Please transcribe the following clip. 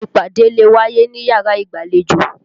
Ìpàdé lè wáyé níyàrá ìgbàlejò.